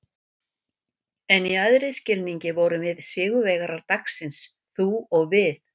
En í æðri skilningi vorum við sigurvegarar dagsins- þú og við.